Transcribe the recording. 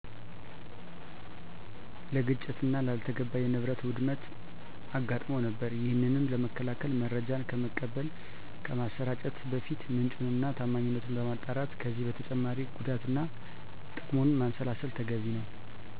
ለግጭትና ላልተገባ የንብረት ውድመት አጋጥሞ ነበር። ይሄንንም ለመከላከል መረጃን ከመቀበል፣ ከማሰራጨት በፊት ምንጩን እና ታማኝነቱን ማጣራት ከዚህም በተጨማሪ ጉዳትና ትቅሙን ማንሰላሰል ተገቢ ነው።